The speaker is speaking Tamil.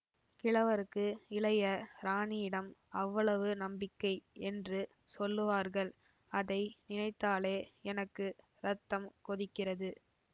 கிழவருக்கு இளைய ராணியிடம் அவ்வளவு நம்பிக்கை என்று சொல்லுவார்கள் அதை நினைத்தாலே எனக்கு ரத்தம் கொதிக்கிறது